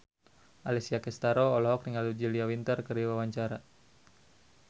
Alessia Cestaro olohok ningali Julia Winter keur diwawancara